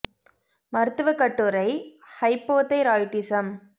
மருத்துவக் கட்டுரை ஹைப்போதைராய்டிசம்